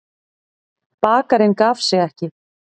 Bakarinn gaf sig ekki.